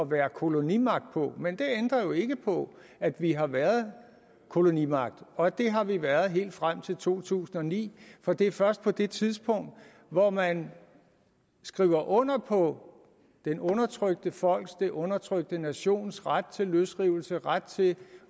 være kolonimagt på men det ændrer jo ikke på at vi har været kolonimagt og at vi har været det helt frem til to tusind og ni for det er først på det tidspunkt hvor man skriver under på det undertrykte folks den undertrykte nations ret til løsrivelse ret til